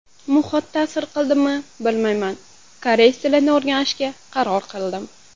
Muhit ta’sir qildmi bilmayman koreys tilini o‘rganishga qaror qildim.